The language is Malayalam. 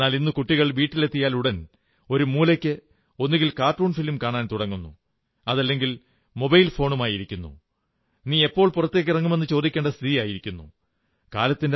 എന്നാലിന്ന് കുട്ടികൾ വീട്ടിലെത്തിയാലുടൻ ഒരു മൂലയ്ക്ക് ഒന്നുകിൽ കാർട്ടൂൺ ഫിലിം കാണാൻ തുടങ്ങുന്നു അതല്ലെങ്കിൽ മൊബൈൽ ഫോണുമായി ഇരിക്കുന്നു നീയെപ്പോൾ പുറത്തേക്കൊന്നിറങ്ങുമെന്നു ചോദിക്കേണ്ട സ്ഥിതിയായിരിക്കുന്നു